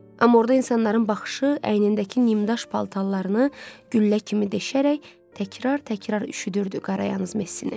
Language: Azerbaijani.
Amma orda insanların baxışı, əynindəki nimdaş paltarlarını güllə kimi deşərək təkrar-təkrar üşüdürdü Qarayanız Məssini.